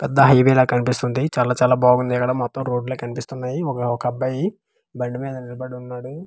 పెద్ద హైవే లాగా కనిపిస్తుంది చాలా చాలా బాగుంది ఇక్కడ మొత్తం రోడ్ లే కనిపిస్తున్నాయి ఒక ఒక అబ్బాయి బండి మీద నిలబడి ఉన్నాడు.